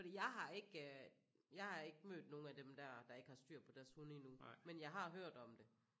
Fordi jeg har ikke jeg har ikke mødt nogen af dem der der ikke har styr på deres hunde endnu men jeg har hørt om det